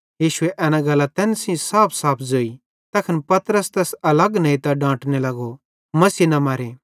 यीशुए एना गल्लां तैन सेइं साफसाफ ज़ोई तैखन पतरस तैस अलग नेइतां डांटने लगो मसीह न मरे